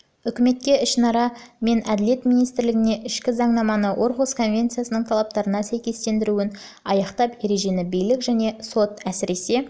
үкіметке ішінара мен әділет министрлігіне ішкі заңнаманы орхусс конвенциясының талаптарына сәйкестіруін аяқтап ережені билік және сот әсіресе